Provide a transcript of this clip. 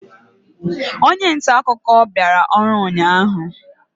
onye nta akụkọ bịara ọrụ ụnyahụ?